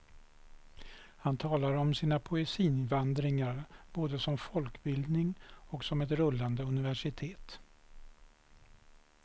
Han talar om sina poesivandringar både som folkbildning och som ett rullande universitet.